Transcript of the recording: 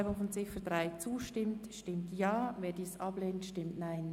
Wer der Abschreibung zustimmt, stimmt Ja, wer diese ablehnt, stimmt Nein.